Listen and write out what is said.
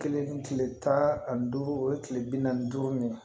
Kelen kile tan ani duuru o ye tile bi naani ni duuru min ye